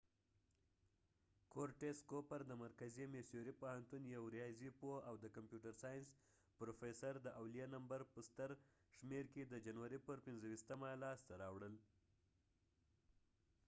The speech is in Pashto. کورټیس کوپر د مرکزي میسوري پوهنتون یو ریاضي پوه او د کمپیوټر ساینس پروفیسر د اولیه نمبر په ستر شمېر کې د جنوري پر 25مه لاسته راوړل